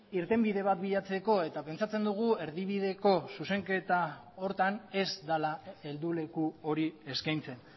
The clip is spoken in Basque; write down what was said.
irtenbide bat bilatzeko eta pentsatzen dugu erdibideko zuzenketa horretan ez dela helduleku hori eskaintzen